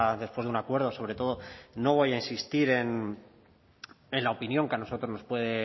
después de un acuerdo sobre todo no voy a insistir en la opinión que a nosotros nos puede